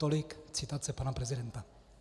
Tolik citace pana prezidenta.